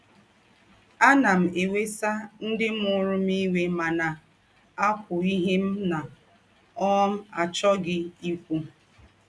“ Ánà m èwèsà ńdị mụrụ m íwé mà na - àkwú ìhè m na - um àchọ́ghị ìkwú. ”